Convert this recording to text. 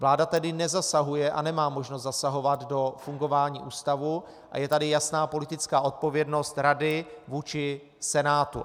Vláda tedy nezasahuje a nemá možnost zasahovat do fungování ústavu a je tady jasná politická odpovědnost rady vůči Senátu.